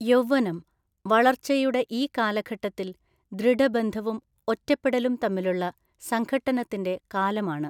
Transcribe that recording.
യൗവ്വനം വളർച്ചയുടെ ഈ കാലഘട്ടത്തിൽ ദൃഢബന്ധവും ഒറ്റപ്പെടലും തമ്മിലുള്ള സംഘട്ടനത്തിന്റെ കാലമാണ്.